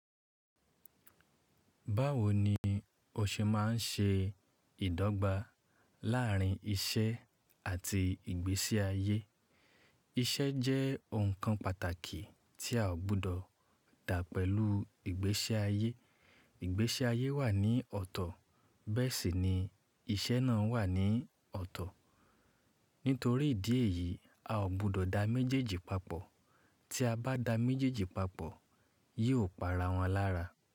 Báwo ni o ṣe máa ń ṣe ìdọ́gba láárín iṣẹ́ àti ìgbésí ayé? Iṣẹ́ jẹ́ ohun kan pàtàkì tí a ò gbọdọ̀ dá pẹ̀lú ìgbésí ayé. Ìgbésí ayé wà ní ọ̀tọ̀, bẹ́ẹ̀ sì ni iṣẹ́ náà wà ní ọ̀tọ̀. Nítorí ìdí èyí, a ò gbọdọ̀ da méjèèjì papọ̀. Tí a bá da méjèèjì papọ̀, yóò pa ara wọn lára.